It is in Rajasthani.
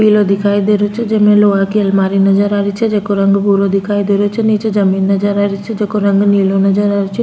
पीलो दिखाई दे रो छे जेमे लोहा की अलमारी नज़र आ री छे जीका रंग भूरा दिखाई दे रो छे निचे जमीन नजर आ री छे जीको रंग नीलो नजर आ रो छे।